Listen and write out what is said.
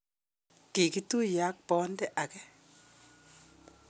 kikituye ak bonde age.